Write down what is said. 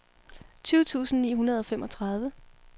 tyve tusind ni hundrede og femogtredive